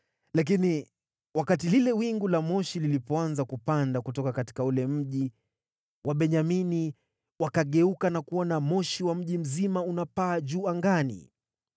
Lakini wakati lile wingu la moshi lilipoanza kupanda kutoka ule mji, Wabenyamini wakageuka na kuona moshi wa mji mzima unapaa juu angani.